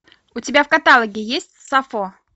у тебя в каталоге есть сафо